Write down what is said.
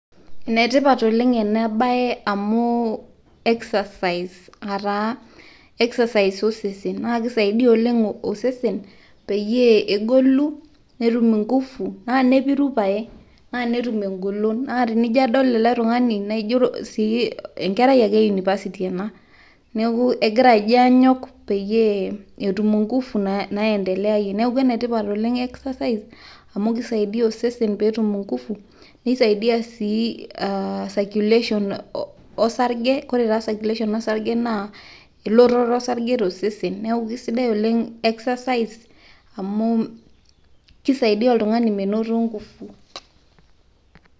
enetipat oleng ena bae amu excercise osesen. naa kisaidia oleng osesen peyie, egolu netum inkufu naa nepiru pae naa netum engolon. naa tenijo adol ele tung'ani naa enkerai e university pae. egira ajo anyok peyie etum inkufu naendeleayie. neeku ene tipat oleng excercise amu kisaidia osesen pee etum inkufu, nisaidia sii circulation osarge, ore taa circulation osarge naa elototo osarge tosesen. neeku kisidai oleng exercise amu kisaidia oltungani menoto nkufu.